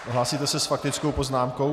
Hlásíte se s faktickou poznámkou?